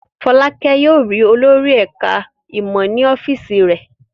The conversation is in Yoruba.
Fọ́lákẹ́ yóò rí olórí ẹ̀ka-ìmọ̀ ní ọ́fíísì rẹ̀.